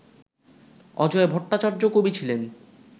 অজয় ভট্টাচার্য কবি ছিলেন